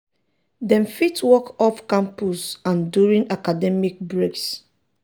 um dem fit work off-campus and during academic breaks.